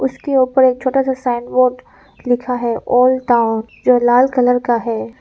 उसके ऊपर एक छोटा सा साइन बोर्ड लिखा है ओल्ड टाउन जो लाल कलर का है।